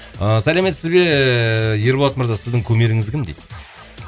ыыы сәлеметсіз бе ерболат мырза сіздің кумиріңіз кім дейді